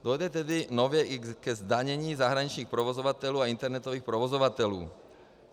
Dojde tedy nově i ke zdanění zahraničních provozovatelů a internetových provozovatelů.